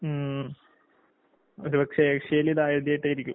ഉം. ഒരുപക്ഷെ ഏഷ്യേലിതാദ്യാട്ടായിരിക്കും.